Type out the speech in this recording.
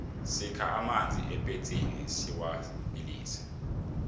sikha amanzi epetsini siwabilise